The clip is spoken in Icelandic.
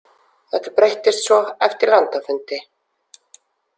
Þetta breyttist svo eftir landafundi.